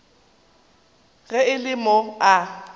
ge e le mo a